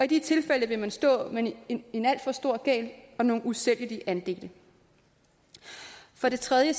de tilfælde vil man stå med en en alt for stor gæld og nogle usælgelige andele for det tredje